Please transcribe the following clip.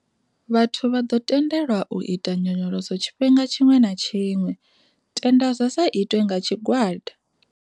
Vhathu vha ḓo tendelwa u ita nyonyoloso tshifhinga tshiṅwe na tshiṅwe, tenda zwa sa itwe nga tshigwada.